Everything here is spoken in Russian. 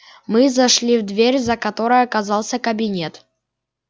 мы зашли в дверь за которой оказался кабинет